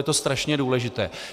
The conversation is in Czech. Je to strašně důležité.